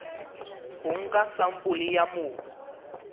ho nka sampole ya mobu